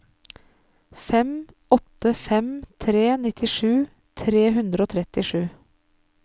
fem åtte fem tre nittisju tre hundre og trettisju